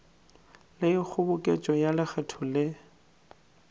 le kgoboketšo ya lekgetho le